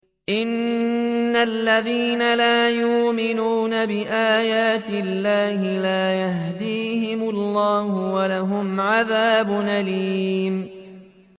إِنَّ الَّذِينَ لَا يُؤْمِنُونَ بِآيَاتِ اللَّهِ لَا يَهْدِيهِمُ اللَّهُ وَلَهُمْ عَذَابٌ أَلِيمٌ